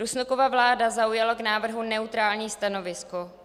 Rusnokova vláda zaujala k návrhu neutrální stanovisko.